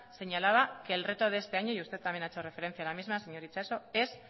señalaba que el reto de este año y usted también ha hecho referencia a la misma señor itxaso es